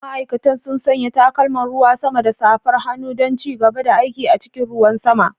Ma'aikatan sun sanya takalman ruwan sama da safar hannu don ci gaba da aiki a cikin ruwan sama.